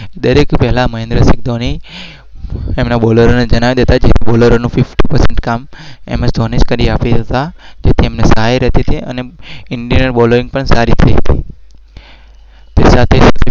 દરેક